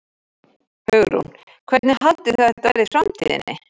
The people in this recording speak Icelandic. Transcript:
Hugrún: Hvernig haldið þið að þetta verði í framtíðinni?